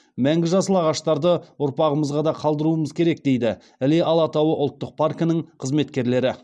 мәңгі жасыл ағаштарды ұрпағымызға да қалдыруымыз керек дейді іле алатауы ұлттық паркінің қызметкерлері